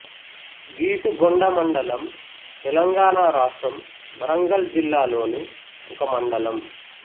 గీసుగొండ మండలం తెలంగాణ రాష్ట్రం వరంగల్ జిల్లా లోని ఒక మండలం